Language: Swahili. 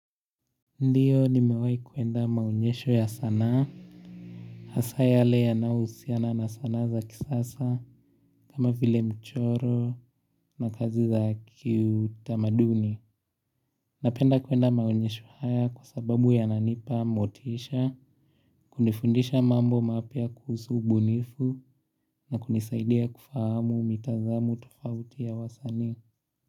Ndiyo nimewai kuenda maonyesho ya sanaa, hasa yale yanahusiana na sanaa za kisasa, kama vile mchoro na kazi za kiutamaduni. Napenda kuenda maunyesho haya kwa sababu ya nanipa motisha, kunifundisha mambo mapya kuhusu ubunifu na kunisaidia kufahamu mitazamu tofauti ya wasaani.